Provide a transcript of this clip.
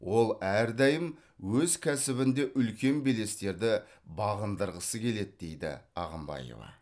ол әрдайым өз кәсібінде үлкен белестерді бағындырғысы келеді дейді ағымбаева